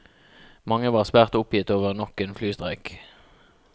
Mange var svært oppgitt over nok en flystreik.